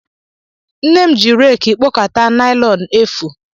Nne m ji reeki kpokọta naịlọn efu.